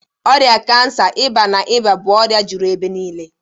Ọrịa kansa, ịba, na ịba bụ ọrịa juru ebe niile